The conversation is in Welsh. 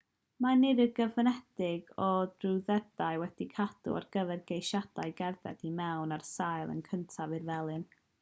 mae nifer gyfyngedig o drwyddedau wedi'u cadw ar gyfer ceisiadau cerdded i mewn ar sail y cyntaf i'r felin